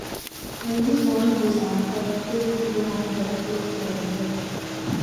we use one hose and pipie take do one tap close to our well